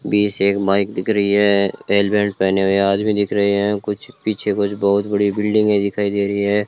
B से एक bike दिख रही है हेलमेट पहने हुए आदमी दिख रहे हैं कुछ पीछे कुछ बहुत बड़ी बिल्डिंगें दिखाई दे रही हैं।